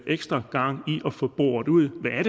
ekstra gang i at få boret ud hvad det er